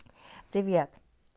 привет